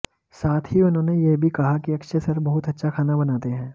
साथ ही उन्होंने ये भी कहा कि अक्षय सर बहुत अच्छा खाना बनाते हैं